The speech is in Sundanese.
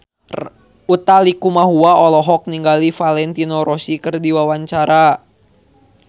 Utha Likumahua olohok ningali Valentino Rossi keur diwawancara